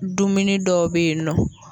Dumuni dɔw bɛ yen nɔ.